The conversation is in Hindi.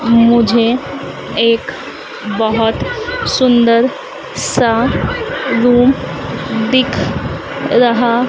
मुझे एक बहोत सुंदर सा रूम दिख रहा--